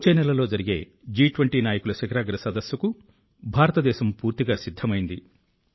వచ్చే నెలలో జరిగే జి20 నాయకుల శిఖరాగ్ర సదస్సుకు భారతదేశం పూర్తిగా సిద్ధమైంది